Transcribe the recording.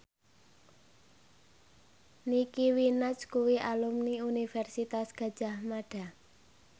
Nicky Minaj kuwi alumni Universitas Gadjah Mada